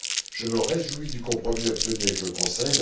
Je me réjouis du compromis obtenu avec le Conseil.